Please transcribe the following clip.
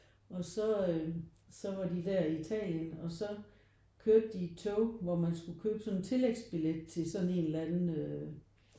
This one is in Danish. Og så øh så var de der i Italien og så kørte de i et tog hvor man skulle købe sådan en tillægsbillet til sådan en eller anden øh